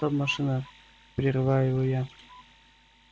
стоп машина прерываю его я